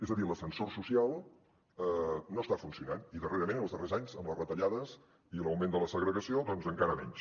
és a dir l’ascensor social no està funcionant i darrerament en els darrers anys amb les retallades i l’augment de la segregació doncs encara menys